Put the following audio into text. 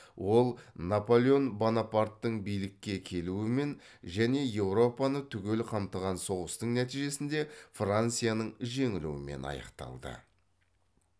ол наполеон бонопарттың билікке келуімен және еуропаны түгел қамтыған соғыстың нәтижесінде францияның жеңілуімен аяқталды